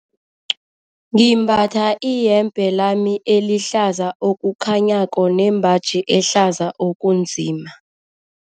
Ngimbatha iyembe lami elihlaza okukhanyako nembaji ehlaza okunzima.